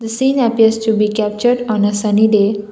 seeing happiest to be captured on a sunny day.